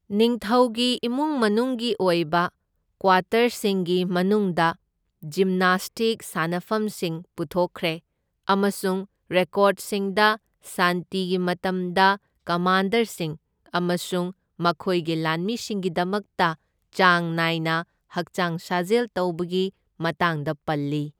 ꯅꯤꯡꯊꯧꯒꯤ ꯏꯃꯨꯡ ꯃꯅꯨꯡꯒꯤ ꯑꯣꯏꯕ ꯀ꯭ꯋꯥꯇꯔꯁꯤꯡꯒꯤ ꯃꯅꯨꯡꯗ ꯖꯤꯝꯅꯥꯁꯇꯤꯛ ꯁꯥꯅꯐꯝꯁꯤꯡ ꯄꯨꯊꯣꯛꯈ꯭ꯔꯦ ꯑꯃꯁꯨꯡ ꯔꯦꯀꯣꯔꯗꯁꯤꯡꯗ ꯁꯥꯟꯇꯤꯒꯤ ꯃꯇꯝꯗ ꯀꯃꯥꯟꯗꯔꯁꯤꯡ ꯑꯃꯁꯨꯡ ꯃꯈꯣꯏꯒꯤ ꯂꯥꯟꯃꯤꯁꯤꯡꯒꯤꯗꯃꯛꯇ ꯆꯥꯡ ꯅꯥꯏꯅ ꯍꯛꯆꯥꯡ ꯁꯥꯖꯦꯜ ꯇꯧꯕꯒꯤ ꯃꯇꯥꯡꯗ ꯄꯜꯂꯤ꯫